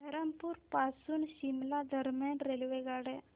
धरमपुर पासून शिमला दरम्यान रेल्वेगाड्या